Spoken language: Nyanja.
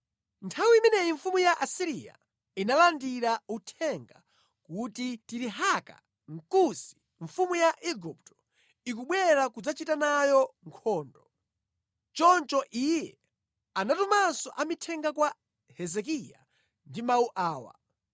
Nthawi imeneyi Senakeribu analandira uthenga wakuti Tirihaka, mfumu ya ku Kusi, akubwera kudzachita naye nkhondo. Choncho iye anatumanso amithenga kwa Hezekiya ndi mawu awa: